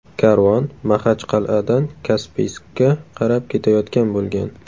Karvon Maxachqal’adan Kaspiyskka qarab ketayotgan bo‘lgan.